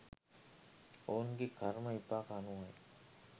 ඔවුන්ගේ කර්ම විපාක අනුවයි.